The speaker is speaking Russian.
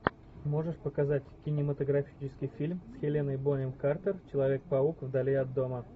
можешь показать кинематографический фильм с хеленой бонем картер человек паук вдали от дома